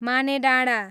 Manedanda